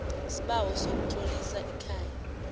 isibawo sokutlolisa ikhaya